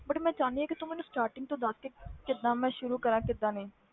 But ਮੈਂ ਚਾਹੁੰਦੀ ਹਾਂ ਕਿ ਤੂੰ ਮੈਨੂੰ starting ਤੋਂ ਦੱਸ ਕਿੱਦਾਂ ਮੈਂ ਸ਼ੁਰੂ ਕਰਾਂ ਕਿੱਦਾਂ ਨਹੀਂ